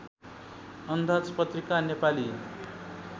अन्दाज पत्रिका नेपाली